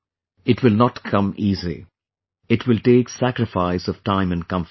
It will not come easy, it will take sacrifice of time and comfort